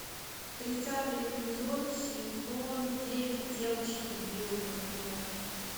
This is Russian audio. тридцатый эпизод сезон девять девочки гилмор